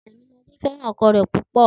Tèmiladé fé̩ràn o̩ko̩ rè̩ púpò̩